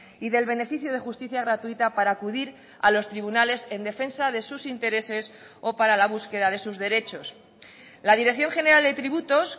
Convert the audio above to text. y del beneficio de justicia gratuita para acudir a los tribunales en defensa de sus intereses o para la búsqueda de sus derechos la dirección general de tributos